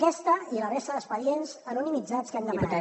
aquest i la resta d’expedients anonimitzats que hem demanat